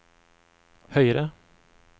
høyere